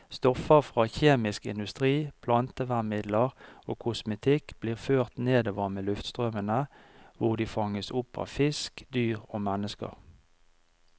Stoffer fra kjemisk industri, plantevernmidler og kosmetikk blir ført nordover med luftstrømmene, hvor de fanges opp av fisk, dyr og mennesker.